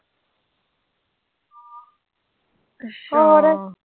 ਹੋਰ।